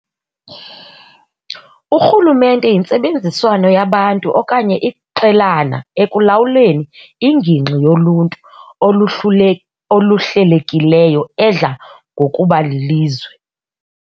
Urhulumente yintsebenziswano yabantu okanye iqelana ekulawuleni ingingqi yoluntu oluhlelekileyo edla ngokuba lilizwe.